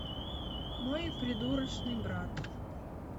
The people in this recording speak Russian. мой придурочный брат